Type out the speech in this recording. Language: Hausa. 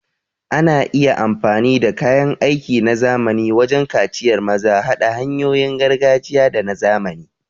Ana iya amfani da kayan aiki na zamani wajen kaciyar maza, haɗa hanyoyin gargajiya da na zamani.